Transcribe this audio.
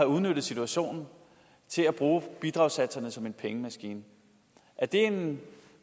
udnyttet situationen til at bruge bidragssatserne som en pengemaskine er det en